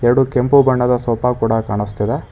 ಎರಡು ಕೆಂಪು ಬಣ್ಣದ ಸೋಫಾ ಕೂಡ ಕಾಣಿಸ್ತಿದೆ.